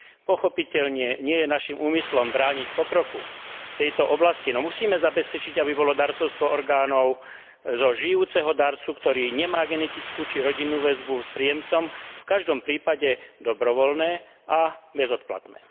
Pochopiteľne nie je naším úmyslom brániť pokroku v tejto oblasti, no musíme zabezpečiť, aby bolo darcovstvo orgánov zo žijúceho darcu, ktorý nemá genetickú či rodinnú väzbu s príjemcom, v každom prípade dobrovoľné a bezodplatné.